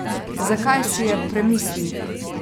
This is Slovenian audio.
Zakaj si je premislil?